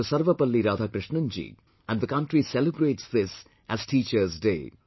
Sarvapalli Radhakrishnan ji and the country celebrates this as Teachers Day